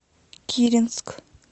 киренск